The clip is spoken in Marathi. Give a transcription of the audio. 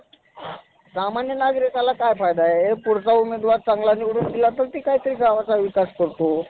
लोकं देवाला पूजतात. खूप सारे लोकं व्रतं उपवास करतं असतात, जेथे आपआपल्या भावनांनुसार उपासनेनुसार श्रद्धेने दान धर्म उपवास करत असतात.